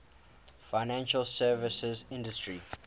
financial services industry